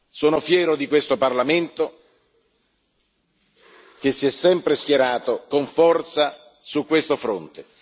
Sono fiero di questo Parlamento, che si è sempre schierato con forza su questo fronte.